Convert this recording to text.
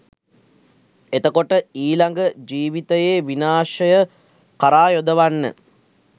එතකොට ඊළඟ ජීවිතයේ විනාශය කරා යොදවන්න